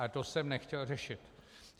Ale to jsem nechtěl řešit.